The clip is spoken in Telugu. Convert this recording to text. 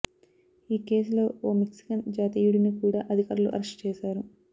ఈ కేసులో ఓ మెక్సికన్ జాతీయుడిని కూడా అధికారులు అరెస్ట్ చేశారు